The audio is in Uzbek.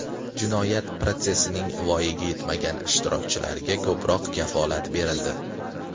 Jinoyat protsessining voyaga yetmagan ishtirokchilariga ko‘proq kafolatlar berildi.